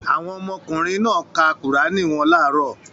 Àwọn ọmọkùnrin náà ka Kùránì wọn láàárọ̀.